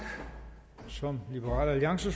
så